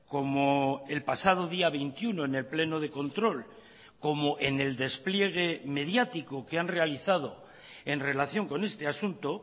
como el pasado día veintiuno en el pleno de control como en el despliegue mediático que han realizado en relación con este asunto